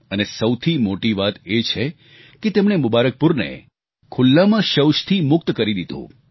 અને સૌથી મોટી વાત એ છે કે તેમણે મુબારકપુરને ખુલ્લામાં શૌચથી મુક્ત કરી દીધું